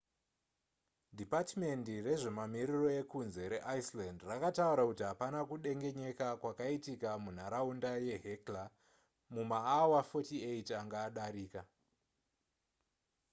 dhipatimendi rezvemamiriro ekunze reiceland rakataura kuti hapana kudengenyeka kwakaitika munharaunda yehekla mumaawa 48 anga adarika